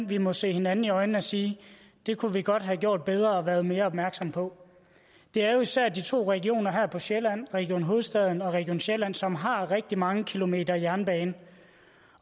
vi må se hinanden i øjnene og sige det kunne vi godt have gjort bedre og været mere opmærksomme på det er jo især de to regioner her på sjælland region hovedstaden og region sjælland som har rigtig mange kilometer jernbane